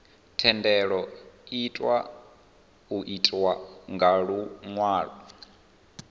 thendelo itea u itwa nga luṅwalo